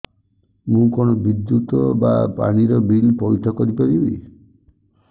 ମୁ କଣ ବିଦ୍ୟୁତ ବା ପାଣି ର ବିଲ ପଇଠ କରି ପାରିବି